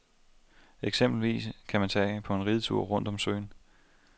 Eksempelvis kan man tage på en ridetur rundt om søen.